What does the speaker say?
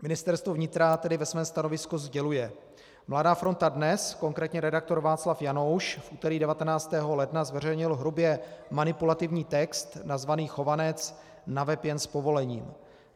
Ministerstvo vnitra tedy ve svém stanovisku sděluje: Mladá fronta Dnes, konkrétně redaktor Václav Janouš, v úterý 19. ledna zveřejnil hrubě manipulativní text nazvaný "Chovanec: na web jen s povolením".